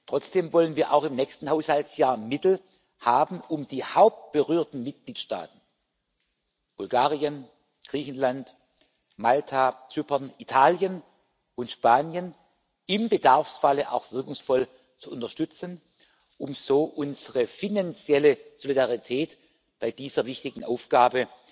Trotzdem wollen wir auch im nächsten Haushaltsjahr Mittel haben, um die hauptberührten Mitgliedstaaten Bulgarien, Griechenland, Malta, Zypern, Italien und Spanien im Bedarfsfalle auch wirkungsvoll zu unterstützen, um so unsere finanzielle Solidarität bei dieser wichtigen Aufgabe